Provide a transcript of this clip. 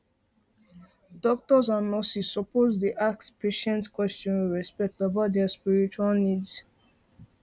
doctors and nurses suppose dey ask patients question with respect about their spiritual needs